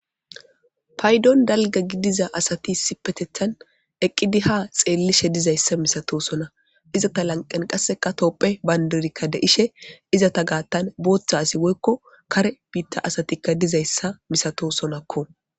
Payiddonni daligga gidizza asati issippeteththan eqidi haa xellishshe dizayissa misatosonna ,izeta laniqenn qaasekka tophphiya banidi de'ishshe izeta gaththanni boththa woyikko kaare bita asatikka dizayissa misatosonakko.